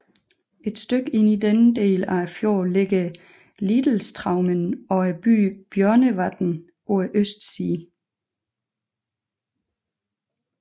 Et stykke inde i denne del af fjorden ligger Litlestraumen og byen Bjørnevatn på østsiden